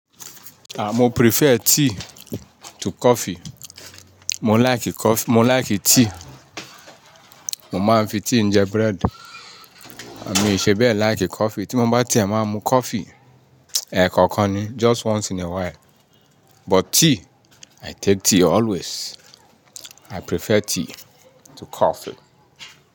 Ah, mo prefer tea to coffee. Mo like cof-- mo like tea. Mo máa ń fi tea jẹ bread. À mi ì ṣe bẹ́ẹ̀ like coffee. Tí mo bá tí ẹ̀ ma mu coffee ẹ̀ẹ̀ kọ̀ọ̀kan ni, just once in a while. But tea, I take tea always. I prefer tea to coffee.